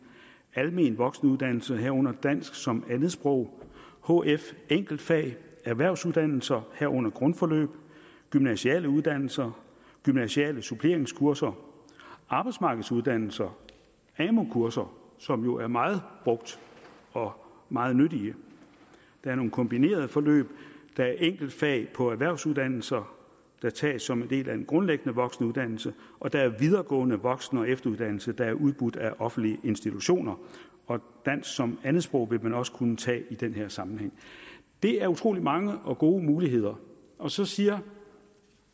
almen voksenuddannelse herunder dansk som andetsprog hf enkeltfag erhvervsuddannelser herunder grundforløb gymnasiale uddannelser gymnasiale suppleringskurser arbejdsmarkedsuddannelser amu kurser som jo er meget brugt og meget nyttige der er nogle kombinerede forløb der er enkeltfag på erhvervsuddannelser der tages som en del af en grundlæggende voksenuddannelse og der er videregående voksen og efteruddannelse der er udbudt af offentlige institutioner og dansk som andetsprog vil man også kunne tage i den her sammenhæng det er utrolig mange og gode muligheder og så siger